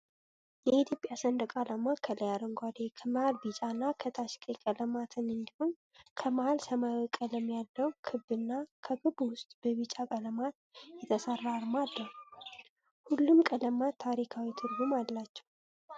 የኢትዮጵያ ሰንደቅዓላማ ከላይ አረንጓዴ ፣ከመሀል ቢጫ እና ከታች ቀይ ቀለማትን እንዲሁም ከመሀል ሰማያዊ ቀለም ያለው ክብ እና ከክቡ ውስጥ በቢጫ ቀለማት የተሰራ አርማ አለው። ሁሉም ቀለማት ታሪካዊ ትርጉም አላቸው።